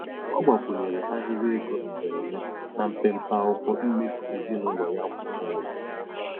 Ọ gbakwunyere ahịrị ego mberede na mpempe akwụkwọ mmefu ezinụlọ ya kwa ọnwa.